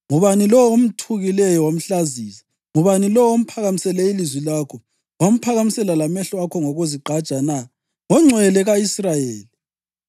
Ngubani lowo omthukileyo wamhlazisa? Ngubani lowo omphakamisele ilizwi lakho wamphakamisela lamehlo akho ngokuzigqaja na? NgoNgcwele ka-Israyeli!